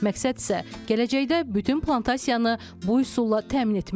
Məqsəd isə gələcəkdə bütün plantasiyanı bu üsulla təmin etməkdir.